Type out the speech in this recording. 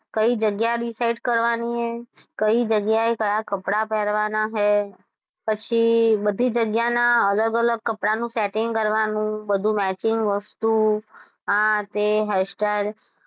કઈ જગ્યા decide કરવાની, કઈ જગ્યાએ ક્યાં કપડાં પહેરવાના હે, પછી બધી જગ્યાના અલગ અલગ કપડાં નું setting કરવાનું બધુ matching વસ્તુ આ તે hair style